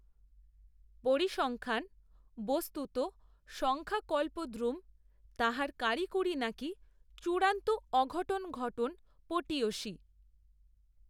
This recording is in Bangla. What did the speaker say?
পরিসংখ্যান, বস্তুত সংখ্যাকল্পদ্রুম, তাহার কারিকূরি নাকি চূড়ান্ত অঘটন ঘটন পটীয়সী